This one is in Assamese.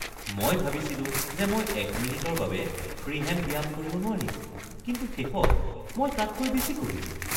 মই ভাবিছিলো যে মই এক মিনিটৰ বাবে ফ্ৰি হেণ্ড ব্যায়াম কৰিব নোৱাৰিম, কিন্তু শেষত মই তাতকৈ বেছি কৰিলো।